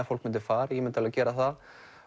fólk myndi fara ég myndi alveg gera það